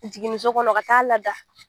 Jiginniso kɔnɔ ka t'a lada